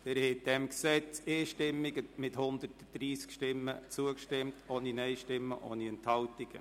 Sie haben diesem Gesetz einstimmig mit 130 Stimmen zugestimmt, ohne Nein-Stimmen und ohne Enthaltungen.